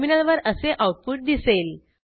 टर्मिनलवर असे आऊटपुट दिसेल